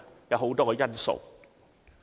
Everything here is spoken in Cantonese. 有很多因素。